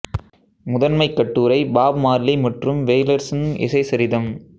முதன்மை கட்டுரை Bob Marley மற்றும் வெயிலர்ஸ்ன் இசை சரிதம்